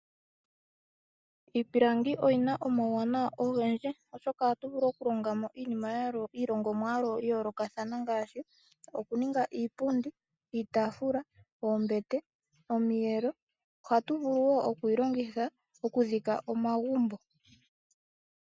Iipilangi oyina omawuwanawa ogendji oshoka oto vulu okuningamo iipundi, oombete, iitaafula nosho wo okutungitha omagumbo.